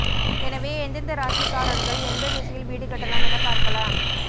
எனவே எந்தெந்த ராசிகாரர்கள் எந்த திசையில் வீடு கட்டலாம் என பார்க்கலாம்